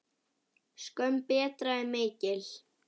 Skömm Breta er mikil.